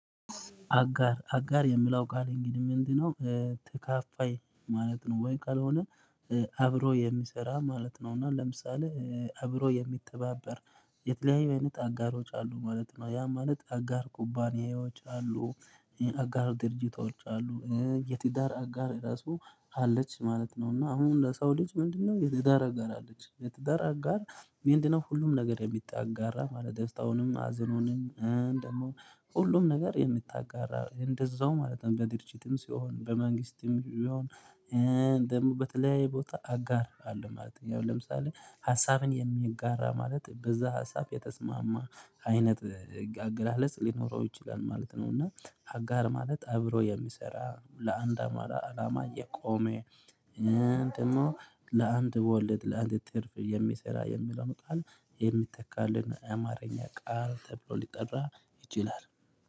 አጋር አጋር የሚላው ቃል እንግዲህ ምንድነው? ተካፋይ ማለት ነው ወይ ካልሆነ? አብሮ የሚሰራ ማለት ነው እና ለምሳሌ አብሮ የሚተባበር የተለያዩ አይነት አጋሮች አሉ ማለት ነው። ያ ማለት አጋር ኩባንያዎች አሉ። አጋር ድርጅቶች አሉ የቲዳር አጋር ራሱ አለች ማለት ነው። እና አሁን ለሰው ልጅ ምንድነው? የትዳር አጋር አለች የትዳር አጋር? ምንድነው ሁሉም ነገር የምታጋራህ ማለት ደሰታውንም ሀዘኑንም ደግሞ ሁሉም ነገር የምታጋራ እንደዛው ማለት ነው። በድርጅትም ሲሆን በመንግስትም ሲሆን። ደግሞ በተለያየ ቦታ አጋር አለ ማለት ነው። ያው ለምሳሌ ሀሳብን የሚጋራ ማለት በዛ ሀሳብ የተስማማ አይነት አገላለጽ ሊኖረው ይችላል ማለት ነው። እና አጋር ማለት አብሮ የሚሰራ ለአንድ አማራ አላማ እየቆመ። እንደኔው ለአንድ በወለድ ለአንድ ትርፍ የሚሰራ የሚለውን ቃል የሚተካልን አማርኛ ቃል ተብሎ ሊጠራ ይችላል።